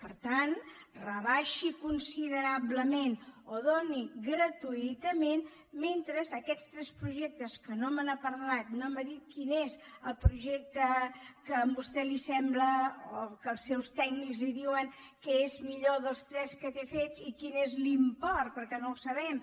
per tant rebaixi considerablement o doni gratuïtament mentre aquests tres projectes que no me n’ha parlat no m’ha dit quin és el projecte que a vostè li sembla o que els seus tècnics li diuen que és millor dels tres que té fets i quin és l’import perquè no el sabem